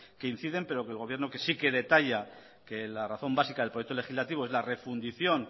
que inciden pero que el gobierno que sí que detalla que la razón básica del proyecto legislativo es la refundición